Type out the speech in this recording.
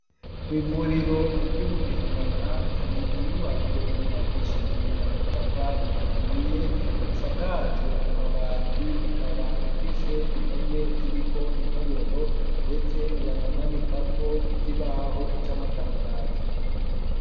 Kw'ivuriro, ry'i Bugendana, hari inyubako, yubakishijwe amatafari ahiye, isakajwe amabati; ikaba ifise impome, ziriko intoboro, ndetse banamanikako, ikibaho c'amatangazo.